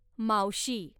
मावशी